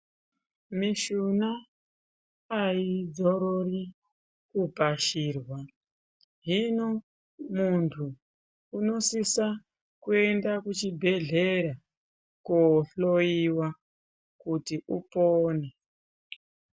Mishuna aidzorori kupashirwa hino muntu unosisa kuenda kuchibhehleya kohloiwa kuti unopone.